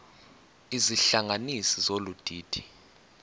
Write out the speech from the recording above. izihlanganisi zolu didi